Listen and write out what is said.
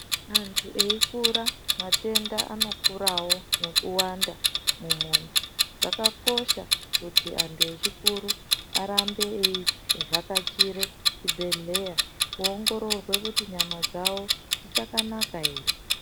Antu eikura matenda anokurawo nekuwanda mumwiri ,zvakakosha kuti anhu echikuru arambe eivhakachire chibhehleya kuongororwe kuti nyama dzawo dzichakana ere.